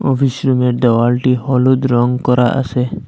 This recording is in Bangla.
অফিস রুমের দেওয়ালটি হলুদ রং করা আসে।